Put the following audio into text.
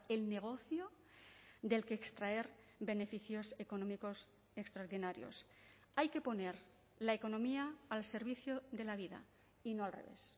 el negocio del que extraer beneficios económicos extraordinarios hay que poner la economía al servicio de la vida y no al revés